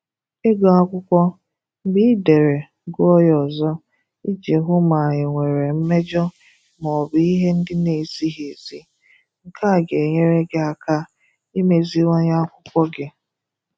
Ịgụ Akwụkwọ: Mgbe ị dere, gụọ ya ọzọ iji hụ ma e nwere mmejọ ma ọ bụ ihe ndị na-ezighi ezi. Nke a ga-enyere gị aka imeziwanye akwụkwọ gị.